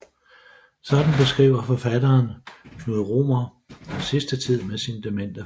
Sådan beskriver forfatteren Knud Romer den sidste tid med sin demente far